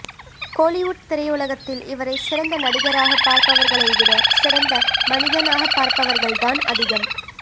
கோலிவுட் திரையுலகத்தில் இவரை சிறந்த நடிகராக பார்பவர்களை விட சிறந்த மனிதனாக பார்பவர்கள் அதிகம்